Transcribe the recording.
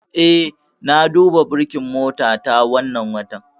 Eh, na duba burkin motata wannan watan.